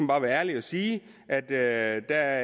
bare være ærlig og sige at der